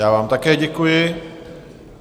Já vám také děkuji.